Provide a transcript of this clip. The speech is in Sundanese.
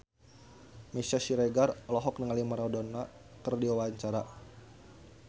Meisya Siregar olohok ningali Maradona keur diwawancara